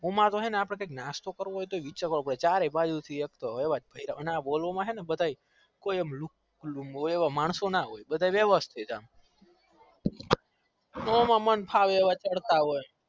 આમતો ચા નાસ્તો કરવો હોય તો વિચારવો પડતું હોય ના બોલવા માં મોયા જેવા માણસો ના હોય બધા વેવ્સ્તીત હોય